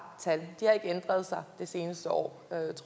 tal og ændret sig det seneste år